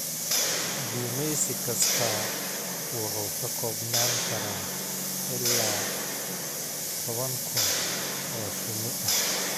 Gumeysi kastaa wuxuu ka koobnaan karaa ilaa toban kun oo shinni ah.